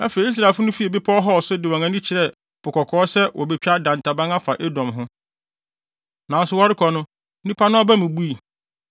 Afei, Israelfo no fii Bepɔw Hor so de wɔn ani kyerɛɛ Po Kɔkɔɔ sɛ wobetwa dantaban afa Edom ho. Nanso wɔrekɔ no nipa no aba mu bui;